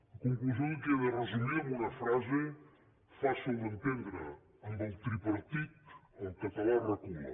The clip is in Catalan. una conclusió que queda resumida amb una frase fàcil d’entendre amb el tripartit el català recula